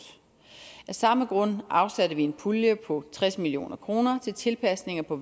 af samme grund afsatte vi en pulje på tres million kroner til tilpasninger på